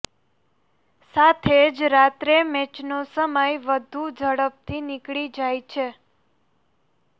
સાથે જ રાત્રે મેચનો સમય વધુ ઝડપથી નીકળી જાય છે